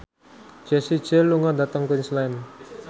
Jessie J lunga dhateng Queensland